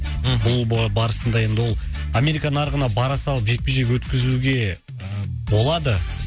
мхм бұл барысында енді ол америка нарығына бара салып жекпе жек өткізуге болады